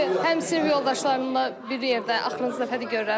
Çünki həm sinif yoldaşlarımla bir yerdə axırıncı dəfədir görürəm.